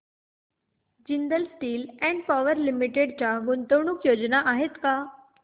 Jindal steel and power limited च्या गुंतवणूक योजना आहेत का